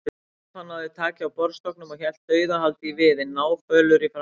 Stefán náði taki á borðstokknum og hélt dauðahaldi í viðinn, náfölur í framan.